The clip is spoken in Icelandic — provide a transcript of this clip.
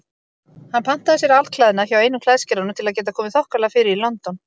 Hann pantaði sér alklæðnað hjá einum klæðskeranum til að geta komið þokkalega fyrir í London.